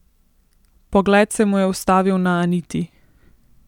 Pogled se mu je ustavil na Aniti.